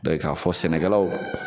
Bɛɛ ye k'a fɔ sɛnɛkɛlaw